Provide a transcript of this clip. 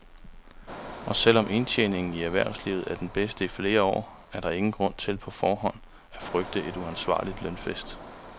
Og selv om indtjeningen i erhvervslivet er den bedste i flere år, er der ingen grund til på forhånd at frygte en uansvarlig lønfest.